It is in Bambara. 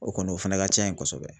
O kɔni o fɛnɛ ka ca yen kosɛbɛ